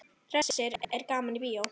Hersir er gaman í bíó?